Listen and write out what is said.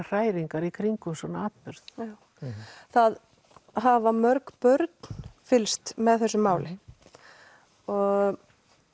hræringar í kringum svona atburð það hafa mörg börn fylgst með þessu máli og